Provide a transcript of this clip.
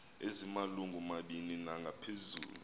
ezimalungu mabini nangaphezulu